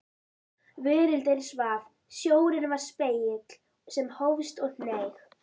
Veröldin svaf, sjórinn var spegill sem hófst og hneig.